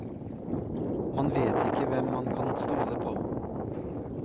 Man vet ikke hvem man kan stole på.